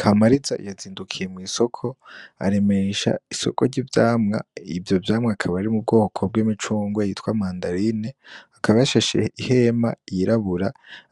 Kamariza yazindukiye mw'isoko aremesha isoko ry'ivyamwa ivyo vyamwa akaba ari mu bwoko bw'imicungwe bita mandarine akaba yashashe ihema yirabura,